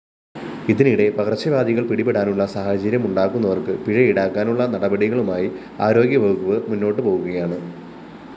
ഇതിനിടെ പകര്‍ച്ചവ്യാധികള്‍ പിടിപെടാനുള്ള സാഹചര്യമുണ്ടാക്കുന്നവര്‍ക്ക് പിഴയീടാക്കാനുള്ള നടപടികളുമായി ആരോഗ്യവകുപ്പ് മുന്നോട്ടുപോകുകയാണ്